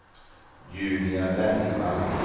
Julia Bergvall